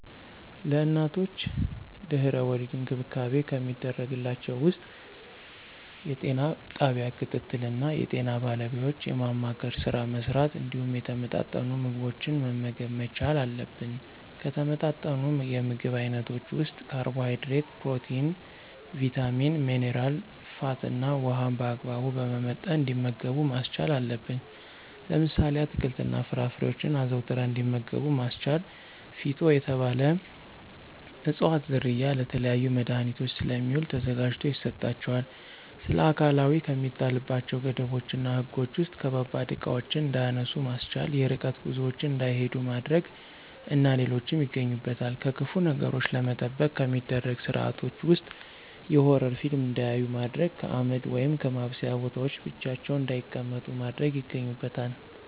ለእናቶች ድህና-ወሊድ እንክብካቤ ከሚደረግላቸው ውስጥ የጤና ጣቢያ ክትትል እና የጤና ባለሙያዎችን የማማከር ስራ መሥራት እንዲሁም የተመጣጠኑ ምግቦችን መመገብ መቻል አለብን። ከተመጣጠኑ የምግብ አይነቶች ውስጥ ካርቦሀይድሬት፣ ፕሮቲን፣ ቭይታሚን፣ ሜነራ፣ ፋት እና ውሀን በአግባቡ በመመጠን እንዲመገቡ ማስቻል አለብን። ለምሳሌ፦ አትክልት እና ፍራፍሬዎችን አዘውትረው እንዲመገቡ ማስቻል። ፊጦ የተባለ እፅዋት ዝርያ ለተለያዩ መድሀኒቶች ስለሚውል ተዘጋጅቶ ይሰጣቸዋል። ስለአካላዊ ከሚጣልባቸው ገደቦች እና ህጎች ውስጥ ከባባድ እቃዎችን እንዳያነሱ ማስቻል፣ የርቀት ጉዞዎችን እንዳይሂዱ ማድረግ እና ሌሎች ይገኙበታል። ከክፉ ነገሮች ለመጠበቅ ከሚደረጉ ስርአቶች ውስጥ የሆረር ፊልም እንዳያዩ ማድረግ፣ ከአመድ ወይም ከማብሰያ ቦታዎች ብቻቸውን እንዳይቀመጡ ማድረግ ይገኙበታል።